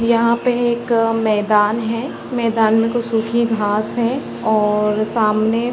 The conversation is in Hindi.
यहाँ पे एक अ मैदान है मैदान में कुछ सुखी घास है और सामने --